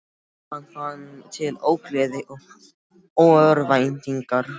Hann fann til ógleði og örvæntingar.